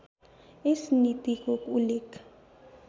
यस नीतिको उल्लेख